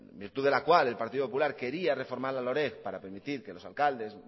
virtud de la cual el partido popular quería reformar la loreg para permitir que los alcaldes